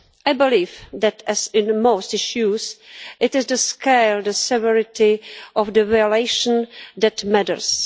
I believe that, as in most issues, it is the scale and the severity of the violation that matters.